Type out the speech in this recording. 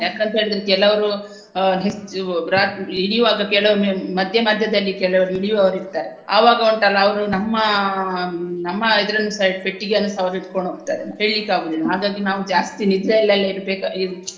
ಯಾಕಂತ ಹೇಳಿದ್ರೆ ಕೆಲವ್ರು ಆ ಹೆಚ್ಚು ಬ್ರ~ ಇಳಿಯುವಾಗ ಕೆಲವೊಮ್ಮೆ ಮಧ್ಯ ಮಧ್ಯದಲ್ಲಿ ಕೆಲವ್ರು ಇಳಿಯುವವರು ಇರ್ತಾರೆ ಅವಾಗ ಉಂಟಲ್ಲಾ ಅವ್ರು ನಮ್ಮ ಆಹ್ ನಮ್ಮ ಇದರನ್ನುಸ ಪೆಟ್ಟಿಗೆಯನ್ನು ಇಟಕೊಂಡ ಹೋಗ್ತಾರೆ ಹೇಳ್ಲಿಕ್ಕೆ ಆಗುವುದಿಲ್ಲಾ ಹಾಗಾಗಿ ನಾವು ಜಾಸ್ತಿ ನಿದ್ರೆಯಲ್ಲೆಲ್ಲಾ ಇರ್ಬೆಕ ಇಲ್ಲ.